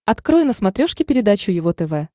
открой на смотрешке передачу его тв